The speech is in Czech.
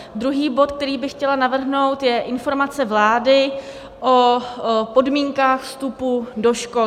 Druhý bod, který bych chtěla navrhnout, je Informace vlády o podmínkách vstupu do škol.